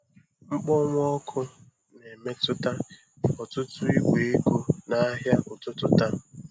Mkpọnwụ ọkụ na-emetụta ọtụtụ igwe ego n'ahịa ụtụtụ taa.